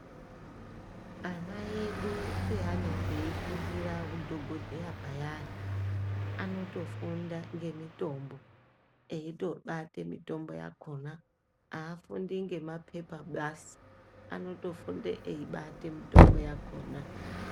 Ana edu pevanenga eifundira udhogodheya payani anotofunda eyibate mishonga, eitobate mitombo yakona. Haafundi ngemapepa basi, anotofunde eibata mitombo yakona.